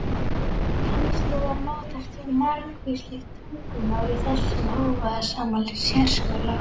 Kannski var notast við margvísleg tungumál í þessum hávaðasama sérskóla?